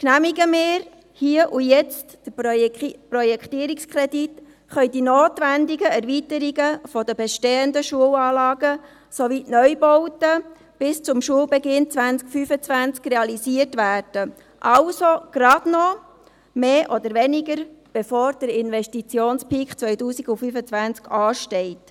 Genehmigen wir hier und jetzt den Projektierungskredit, können die notwendigen Erweiterungen der bestehenden Schulanlagen sowie die Neubauten bis zum Schulbeginn 2025 realisiert werden, also mehr oder weniger kurz bevor der Investitionspeak 2025 ansteht.